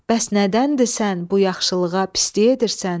Bəs nədəndir sən bu yaxşılığa pislik edirsən?